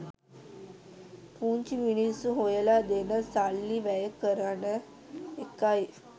පුංචි මිනිස්‌සු හොයලා දෙන සල්ලි වැය කරන එකයි.